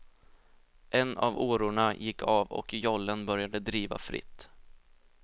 En av årorna gick av och jollen började driva fritt.